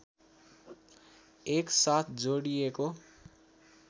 एक साथ जोडिएको